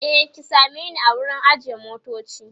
e ki same ni a wurin ajiye motoci